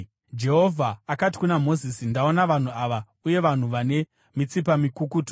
Jehovha akati kuna Mozisi, “Ndaona vanhu ava, uye vanhu vane mitsipa mikukutu.